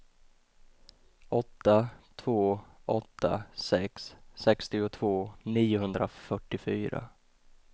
åtta två åtta sex sextiotvå niohundrafyrtiofyra